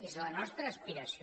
és la nostra aspiració